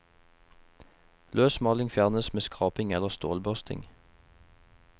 Løs maling fjernes med skraping eller stålbørsting.